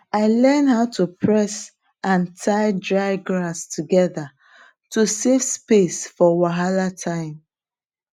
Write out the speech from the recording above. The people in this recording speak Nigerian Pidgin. i learn how to press and tie dry grass together to save space for wahala time